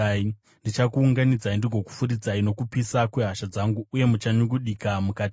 Ndichakuunganidzai ndigokufuridzai nokupisa kwehasha dzangu uye muchanyungudika mukati maro.